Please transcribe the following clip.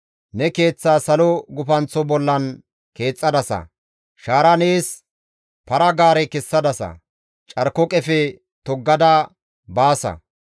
Ne keeththaa salo gufanththo bollan keexxadasa; shaara nees para-gaare kessadasa; carko qefe toggada baasa.